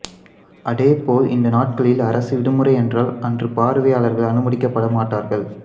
அதேபோல் இந்த நாட்களில் அரசு விடுமுறை என்றால் அன்று பார்வையாளர்கள் அனுமதிக்கப்படமாட்டார்கள்